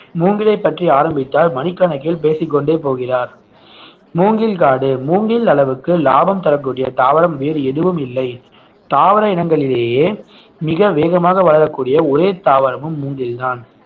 மூங்கிலைப் பற்றி ஆரம்பித்தால் மணிக்கணக்கில் பேசிக்கொண்டே போகிறார் மூங்கில் காடு மூங்கில் அளவுக்கு லாபம் தரக்கூடிய தாவரம் வேறு எதுவும் இல்லை தாவர இனங்களிலேயே மிக வேகமாக வளரக்கூடிய ஒரே தாவரமும் மூங்கில்தான்